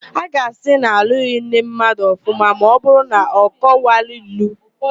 A ga-asị na alụghị nne mmadụ ọfụma ma ọbụrụ na ọ kọwanwughi ilu.